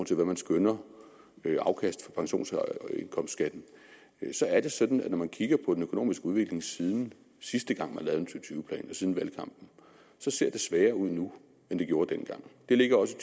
til hvad man skønner i afkast fra pensions og indkomstskatten så er det sådan at når man kigger på den økonomiske udvikling siden sidste gang og tyve plan siden valgkampen så ser det sværere ud nu end det gjorde dengang det ligger også